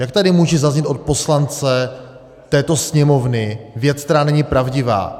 Jak tady může zaznít od poslance této Sněmovny věc, která není pravdivá.